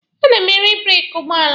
A na m ere breeki ụgbọala.